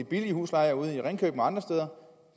billige huslejer ude i ringkøbing og andre steder